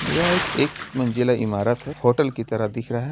यह एक एक मंजिला इमारत है होटल की तरह दिख रहा है ।